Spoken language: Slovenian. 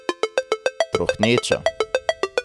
Trohneča!